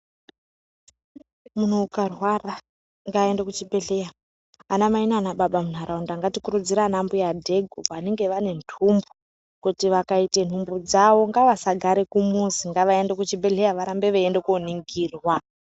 Munhu ukarwara ngaaende kuchibhedhlera anamai nanababa munharaunda ngatikurudzire vana mbuya dhegu vanenge vane nhumbu kuti zvakaite nhumbu dzawo ngavasagare kumuzi ngavaende kuchibhedhlera varambe veienda koningirwa.